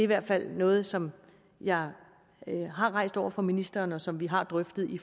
hvert fald noget som jeg har rejst over for ministeren og som vi har drøftet i